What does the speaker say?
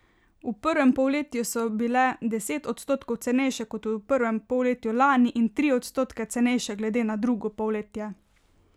V prvem polletju so bile deset odstotkov cenejše kot v prvem polletju lani in tri odstotke cenejše glede na drugo polletje.